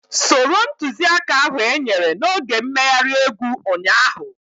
Soro ntuziaka ahu enyere n'oge mmeghari egwu ụnyaahụ